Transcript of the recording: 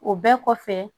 O bɛɛ kɔfɛ